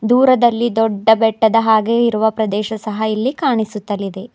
ದೂರದಲ್ಲಿ ದೊಡ್ಡ ಬೆಟ್ಟದ ಹಾಗೆ ಇರುವ ಪ್ರದೇಶ ಸಹ ಇಲ್ಲಿ ಕಾಣಿಸುತ್ತಿಲಿದೆ.